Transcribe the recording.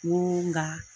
Ŋo nga